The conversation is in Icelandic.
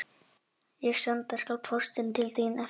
Ég skal senda póstinn til þín á eftir